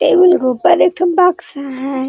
Table के ऊपर एक ठो बक्सा है।